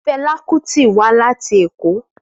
Fela Kuti wa lati Eko.